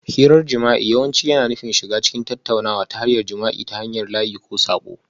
Hirar jima'i yawanci yana nufin shiga cikin tattaunawa ta hanyar jima'i ta hanyar layi ko saƙo